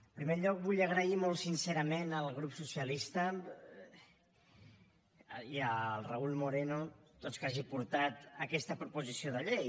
en primer lloc vull agrair molt sincerament al grup socialista i al raúl moreno que hagin portat aquesta proposició de llei